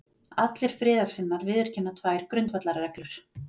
Allir friðarsinnar viðurkenna tvær grundvallarreglur